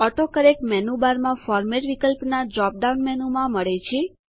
autocorrect menu bar માં format વિકલ્પના dropdown મેનુમાં મળે છે